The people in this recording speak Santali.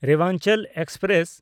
ᱨᱮᱣᱟᱱᱪᱚᱞ ᱮᱠᱥᱯᱨᱮᱥ